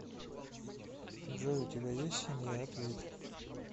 джой у тебя есть семья ответь